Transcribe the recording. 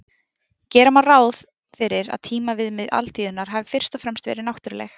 Gera má ráð fyrir að tímaviðmið alþýðunnar hafi fyrst og fremst verið náttúruleg.